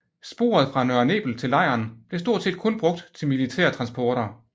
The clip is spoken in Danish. Sporet fra Nørre Nebel til lejren blev stort set kun brugt til militære transporter